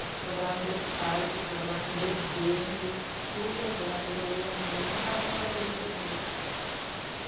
Eu fui trabalhar no berçário, eu fui trabalhar com bebê, me dei super bem, adorei, amei e nunca mais larguei os bebês.